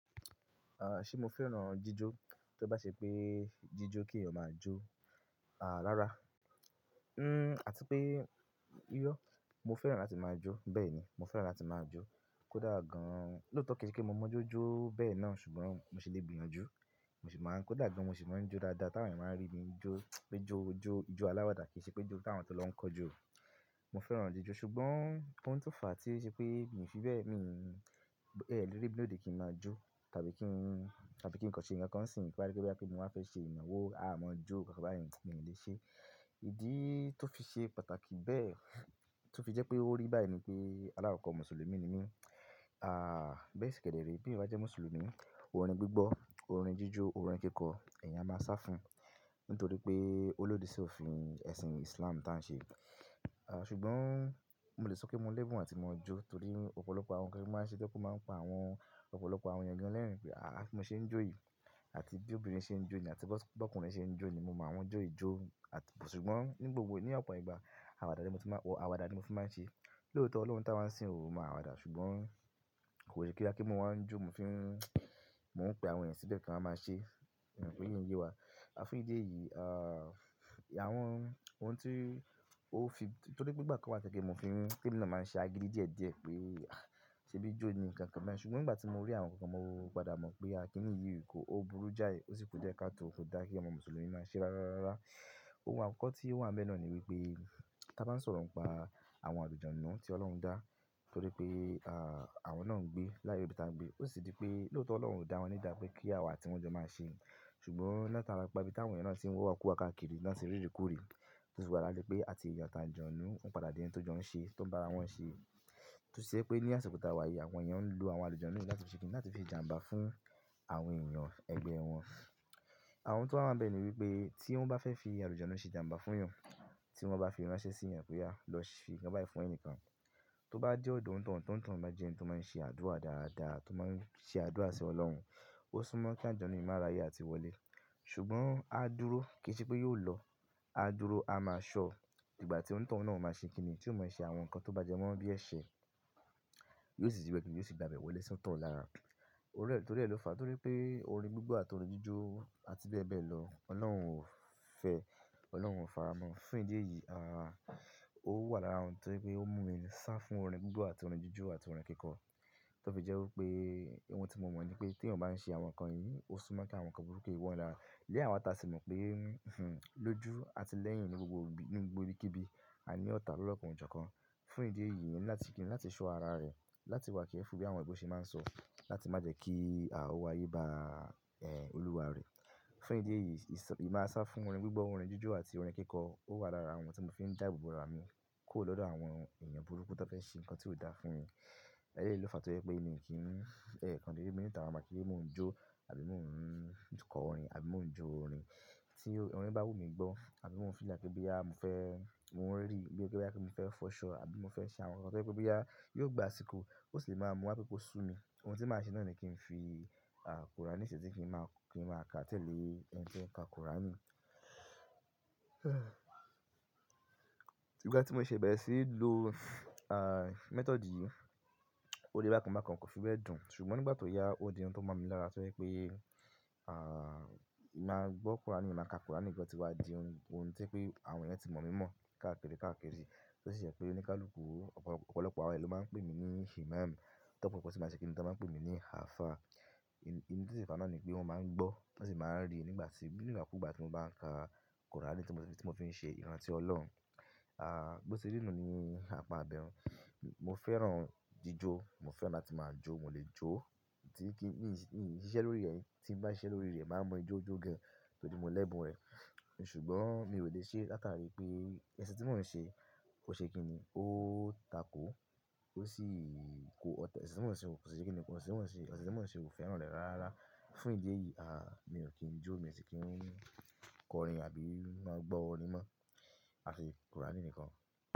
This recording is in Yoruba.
Ah, ṣe mo fẹ́ràn jíjó? Tí ó bá ṣe pé jíjó kí èèyàn máa jó, àá, rárá. Àti pé, irọ́. Mo fẹ́ràn láti máa jó, bẹ́ẹ̀ ni. Mo fẹ́ràn láti máa jó. Kódà gan-an, lóòótọ́ kí í ṣe kí mo mọ jó jó bẹ́ẹ̀ náà ṣùgbọ́n mo ṣe lè gbìyànjú, mo sì máa ń-- kódà gan-an mo sì máa ń jó dáadáa táwọn èèyàn máa ń rí mi jó, pé jó jó, ìjọ aláwàdà kì í ṣe pé jó táwọn tó lọ ń kọ jó. Mo fẹ́ràn jíjó ṣùgbọ́n ohun tó fà á tí í ṣe pé èmi fi bẹ́ẹ̀ mi, lórí bí òde kí n máa jó tàbí kí n, tàbí kí n kọ ṣe nǹkan kan sì nípa rí pé bí àpẹ̀ ní wọ́n á fẹ́ ṣe ìyànwó aá máa jó tàbí àwọn ǹkan bí ẹni lè ṣe. Ìdí tó fi ṣe pàtàkì bẹ́ẹ̀, tó fi jẹ́ pé ó rí báyìí ni pé aláwọ̀ kan Mùsùlùmí ni mí, aà, bẹ́ẹ̀ sì kẹ́dẹ̀ rí pé ìbá jẹ́ Mùsùlùmí, orin gbígbọ́, orin jíjó, orin kíkọ, ẹ̀yin á máa sá fún. Nítorí pé olóde sì òfin ẹ̀sìn Islam táa ṣe. Ah, ṣùgbọ́n mo lè sọ pé mo lẹ́bùn àti mo jó torí ọ̀pọ̀lọpọ̀ àwọn ǹkan ní ó máa ń ṣe pé kó máa ń pa àwọn ọ̀pọ̀lọpọ̀ àwọn ẹ̀yàn lẹ́rìn-ín pé, àá, kí n mo ṣe ń jó yìí, àti bí obìnrin ṣe ń jó ni àti bó ọkùnrin ṣe ń jó ni, mo máa wọ́n jó ìjó. Àti-- ṣùgbọ́n ní gbogbo, ní ọ̀pọ̀ ìgbà àwàdà ni mo ti máa-- àwàdà ni mo fi máa ń ṣe. Lóòótọ́ Ọlọ́run táwọn ṣe ń ò máa wàdà ṣùgbọ́n kò lè ṣe kílá kí n máa ń jó mo fi ń, mò ń pe àwọn ẹ̀yàn síbẹ̀ kí wa máa ṣe. Ìpèyi nye ye wá. A fún ìdí èyí, àwọn ohun tí ó fi-- nítorí pé ìgbà kan wá tẹ́lẹ̀ kí n fi máa ń ṣe agídí díẹ̀díẹ̀ pé, ah, ṣé bí jó ni nǹkan kan bẹ́ẹ̀ ṣùgbọ́n ìgbà tí mo rí àwọn nǹkan mo padà mọ̀ pé a kí nìyí ìkó, ó burú jáì, ó sì kú díẹ̀ ká tó òfin dá kí ọmọ Mùsùlùmí máa ṣe rárá rárá. Ohun àkọ́kọ́ tí ó wà lọ́ bẹ náà ni wípé ká bá ń sọ̀rọ̀ ń pa àwọn àlujonu náà tí Ọlọ́run dá. Nítorí pé, ah, àwọn náà ń gbé láàárín ibi táa ń gbé. Ó sì di pé lóòótọ́ Ọlọ́run kò dá wọn ní ìdápẹ́ kí àwa àti wọ́n jọ máa ṣe. Ṣùgbọ́n láà tára pa ibi táwọn èèyàn náà ti ń wawakuwa káàkiri lánti rí rí kú rí. Túnsùn wá lálé pé àti èèyàn táa jọ̀nú, ó padà di ohun tó jọ̀ún ṣe, tó ń bá ara wọn ṣe. Túnsẹ́ pé ní àsikota wàyí àwọn èèyàn ń lo àwọn àlejò náà ní láti ṣe kí ni, láti fi jàǹbá fún àwọn èèyàn ẹgbẹ́ wọn. Àwọn ohun tó wà lọ́ bẹ ni wípé tí wọ́n bá fẹ́ fi àlejò náà ṣe jàǹbá fún ìyàn, tí wọ́n bá fi ránṣẹ́ sí ìyàn pé yá, lọ ṣe nǹkan báyìí fún ẹni kan, tó bá dé ọ̀dọ̀ ohun tọ̀ntọ̀n máa jẹ́ ẹni tó máa ń ṣe àdúrà dáadáa, tó máa ń ṣe àdúrà sí Ọlọ́run. Ó súnmọ́ kí àjọ̀nú yìí máa ráyè àti wọlé. Ṣùgbọ́n á dúró kí í ṣe pé yóò lọ. Á dúró, a máa ṣọ. Ìgbà tí ohun tọ̀ntọ̀n náà ó máa ṣe kí ni, tí ó máa ń ṣe àwọn nǹkan tó bá jẹ́ mọ́ bí ẹ̀ṣẹ̀, yóò sì wẹ̀kùn yóò sì gba bẹ̀rẹ̀ wọlé sọ́tọ̀ lára. Orin rẹ̀, torí rẹ̀ ló fà á. Torí pé orin gbígbọ́ àti orin jíjó àti bẹ́ẹ̀ bẹ́ẹ̀ lọ, Ọlọ́run ò fẹ́. Ọlọ́run ò fàrá mọ́. Fún ìdí èyí, ah, ó wà lára ohun tó pé ó mú mi sá fún orin gbígbọ́ àti orin jíjó àti orin kíkọ. Tó fi jẹ́ wí pé ohun tí mo mọ̀ ni pé tí èèyàn bá ń ṣe àwọn nǹkan yìí, ó súnmọ́ kí àwọn nǹkan burúkú yí wọ́n lára. Ìdí eyí àwa tà sì mọ̀ pé, lójú àti lẹ́yìn ní gbogbo ibi, ní gbogbo ibikíbi, a ní ọ̀tá lo lokan ojo kan. Fún ìdí èyí, èmi ní láti kí ni, láti ṣọ́ ara rẹ̀, láti wà kí ẹ fun bí àwọn ìgbò ṣe máa ń sọ. Látí má jẹ́ kí, ah, ówo áyé bá, olúwa rẹ̀. Fún ìdí èyí, ìsọ-- èmi á sá fún orin gbígbọ́, orin jíjó àti orin kíkọ. Ó wà lára àwọn ohun tí mò ń fi ń dá ìbùbùra mi kúrò lọ́dọ̀ àwọn èèyàn burúkú tó fẹ́ ṣe nǹkan tí ó dáa fún mi. Ẹ̀leyi ló fà á torí pé èmi kì í, ẹ́, kan-an de dé mi níta wa bá kí n mò ń jó àbí mò ń kọ orin àbí mò ń jó orin tí orin bá wù mí gbọ́ àbí mo fi rí láti bí ya mo fẹ́, mò ń rí bí ó ti jẹ́ pé kí n fẹ́ fọṣọ àbí mo fẹ́ ṣe àwọn nǹkan tó fẹ́ pé bí ya yóò gba àsìkò. Ó sì lè máa mú ákokó sù mí. Ohun tí màá ṣe náà ni kí n fi, kọ́ra ní ìṣẹ́tí kí n máa, kí n máa ka tẹ́lẹ̀ ẹni tí ó ń ka kọ́ra mi. Ìgbà tí mo ṣe bẹ́ẹ̀ sì lo, mêtọ̀dì yìí, ó dé bá kan bá kan kò fi bẹ́ẹ̀ dùn. Ṣùgbọ́n nígbà tó yá ó di ohun tó mọ̀ mí lára torí pé, ah, màá gbọ́ kọ́ra ni, màá ka kọ́ra ni nígbà tí wá di ohun, ohun tí pé àwọn èèyàn tí mọ̀ mí mọ̀ káàkiri káàkiri. Ó sì jẹ́ pé oníkálùkù ọ̀pọ̀lọpọ̀ àwọn ẹlòmíràn pè mí ní Himaam. Tí ọ̀pọ̀lọpọ̀ tí màá ṣe kí ni, wọ́n máa ń pè mí ní Alfa. In-in tí ṣe ìfáná ni pé wọ́n máa ń gbọ́, wọ́n sì máa ń rí nígbà tí, nígbà kú gbà tí mò ń ka kọ́ra ni tí mò ń fi ṣe ìrántí Ọlọ́run. Ah, bó ṣe rí nu ni apa abẹ̀rùn. Mo fẹ́ràn jíjó, mo fẹ́ràn láti máa jó, mò lè jó. Tí kí nìyín, ṣíṣe lórí rẹ̀, tí n bá ń ṣe lórí rẹ̀, màá mọ ijó jó gan torí mo lẹ́bùn rẹ̀. Ṣùgbọ́n mi ò lè ṣe látàrí pé ẹ̀sìn tí mọ́n ń ṣe kò ṣe kí ni, ó tako, ó sì ko ọ̀tẹ̀. Ẹ̀sìn.